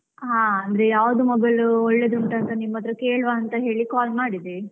ಹಾ ಅಂದ್ರೆ ಯಾವ್ದು mobile ಒಳ್ಳೆದುಂಟು ಅಂತ ನಿಮ್ಮತ್ರ ಕೇಳುವ ಅಂತ ಹೇಳಿ call ಮಾಡಿದೆ.